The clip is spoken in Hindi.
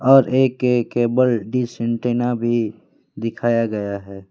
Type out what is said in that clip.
और ए के केबल डिश एंटीना भी दिखाया गया है।